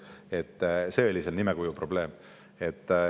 Nii et see oli nimekuju probleem.